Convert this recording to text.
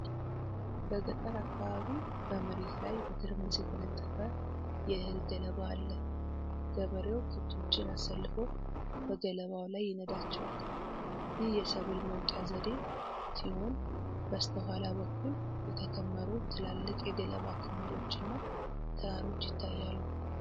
በገጠር አካባቢ በመሬት ላይ በትርምስ የተነጠፈ የእህል ገለባ አለ። ገበሬው ከብቶችን አሰልፎ በገለባው ላይ ይነዳቸዋል። ይህ የሰብል መውቂያ ዘዴ ሲሆን፣ በስተኋላ በኩል የተከመሩ ትላልቅ የገለባ ክምሮች እና ተራሮች ይታያሉ።